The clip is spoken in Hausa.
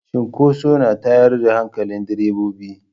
Cinkoso na tayar da hankalin direbobi.